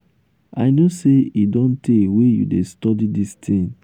i know say e don tey wey you dey study dis thing.